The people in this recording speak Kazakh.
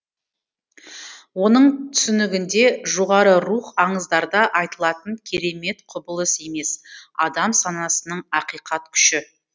оның түсінігінде жоғары рух аңыздарда айтылатын керемет құбылысы емес адам санасының ақиқат күші